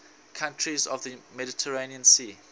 countries of the mediterranean sea